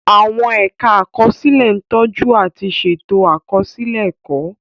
Àwọn ẹ̀ka àkọsílẹ̀ ń tọ́jú àti ṣètò àkọsílẹ̀ ẹ̀kọ́.